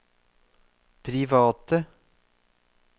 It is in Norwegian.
private